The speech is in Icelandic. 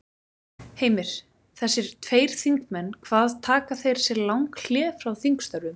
Heimir: Þessir tveir þingmenn hvað taka þeir sér lang hlé frá þingstörfum?